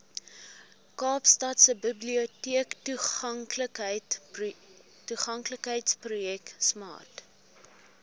kaapstadse biblioteektoeganklikheidsprojek smart